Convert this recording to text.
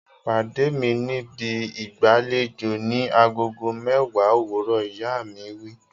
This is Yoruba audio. Pàdé mi níbi ìgbàlejò ni agogo mẹ́wàá òwúrọ̀! Ìyá ìyàwó wí.